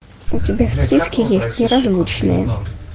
у тебя в списке есть неразлучные